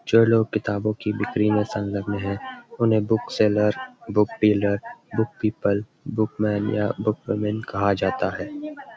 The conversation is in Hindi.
जो लोग किताबों की ब्रिकी में संलग्‍न है उन्‍हें बुकसेलर्स बुकडीलर बुकपीपुल बुकमेन या बुकवीमेन कहा जाता है।